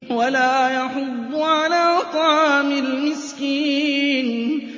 وَلَا يَحُضُّ عَلَىٰ طَعَامِ الْمِسْكِينِ